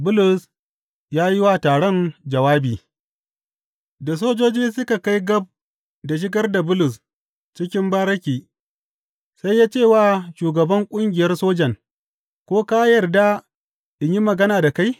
Bulus ya yi wa taron jawabi Da sojoji suka kai gab da shigar da Bulus cikin bariki, sai ya ce wa shugaban ƙungiyar sojan, Ko ka yarda in yi magana da kai?